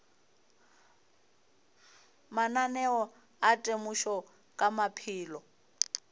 mananeo a temošo ka maphelo